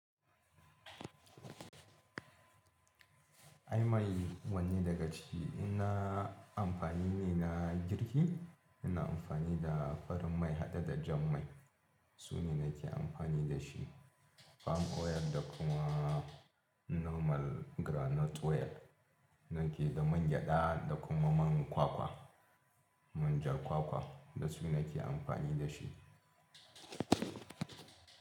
Ai mai wanne daga ciki in na amfani ne na girki ina amfani da farin mai hade da jan mai sune nake amfani dashi. Palm oil da kuma normal groundnut oil nake da man gyada da kuma man kwakwa, manja kwakwa dasu nake amfani da shi.